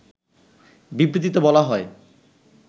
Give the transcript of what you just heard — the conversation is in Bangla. বিবৃতিতে বলা হয়